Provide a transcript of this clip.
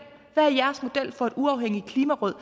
for et uafhængigt klimaråd